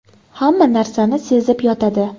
Hamma narsani sezib yotadi.